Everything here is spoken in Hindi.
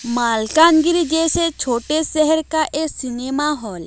माल्कानगिरी जैसे छोटे शहर का ए सिनेमा हॉल --